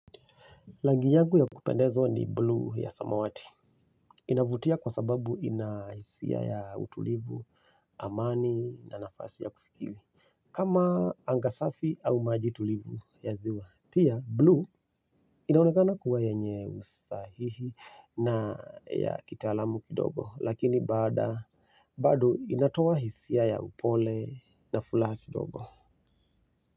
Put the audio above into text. Langi yangu ya kupendezwa ni buluu ya samawati. Inavutia kwa sababu ina hisia ya utulivu, amani na nafasi ya kufikiri. Kama anga safi au maji tulivu ya ziwa. Pia buluu inaonekana kuwa yenye usahihi na ya kitaalamu kidogo. Lakini baada, bado inatoa hisia ya upole na fulaha kidogo.